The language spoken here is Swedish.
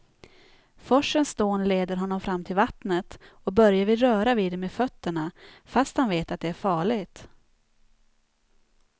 Forsens dån leder honom fram till vattnet och Börje vill röra vid det med fötterna, fast han vet att det är farligt.